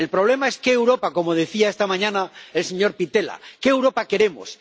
El problema es qué Europa, como decía esta mañana el señor Pittella, qué Europa queremos.